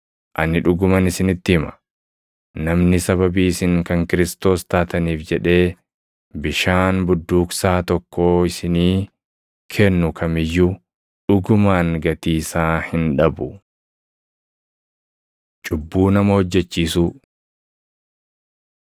Ani dhuguman isinitti hima; namni sababii isin kan Kiristoos taataniif jedhee bishaan budduuqsaa tokkoo isinii kennu kam iyyuu dhugumaan gatii isaa hin dhabu. Cubbuu Nama Hojjechiisuu